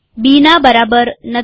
બીના બરાબર નથી